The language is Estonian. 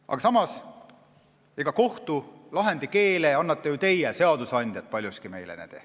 Aga samas annate kohtulahendi keele meile paljuski ju teie, seadusandjad.